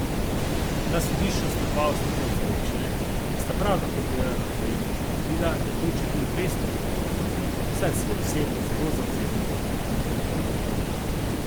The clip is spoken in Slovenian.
Na sodišču sta dva uslužbenca občine, ki sta prav tako delala na projektu, zatrdila, da je bil Čebulj res prizadet, saj se je osebno zelo zavzemal za gradnjo vodovoda.